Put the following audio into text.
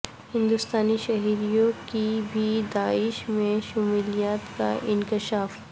ہندوستانی شہریوں کی بھی داعش میں شمولیت کا انکشاف